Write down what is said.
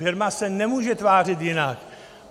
Firma se nemůže tvářit jinak.